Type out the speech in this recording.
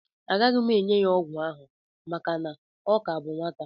Agaghị m enye ya ọgwụ ahụ maka na ọ ka bụ nwata